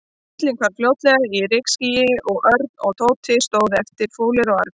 Bíllinn hvarf fljótlega í rykskýi og Örn og Tóti stóðu eftir, fúlir og argir.